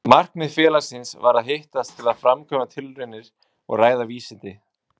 Markmið félagsins var að hittast til að framkvæma tilraunir og ræða vísindi.